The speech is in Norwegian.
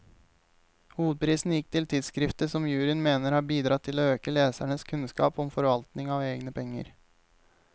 Hovedprisen gikk til tidskriftet, som juryen mener har bidratt til å øke lesernes kunnskap om forvaltning av egne penger.